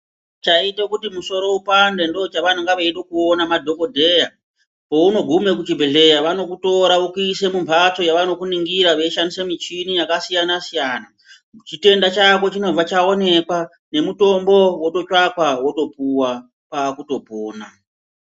Chaite kuti musoro upande ndo chavanonga veida kuona ma dhokodheya pauno gume ku chibhedhleya vanoku tora vokuisa mumbatso yavano kuningira vei shandise michini yaka siyana siyana chitenda chako chinobva chaonekwa ne mutombo woto tsvakwa woto puwa kwakuto pona.